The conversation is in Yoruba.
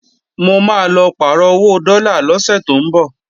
Mo máa lọ pàrọ̀ owó dọ́là lọ́sẹ̀ tó ńbọ̀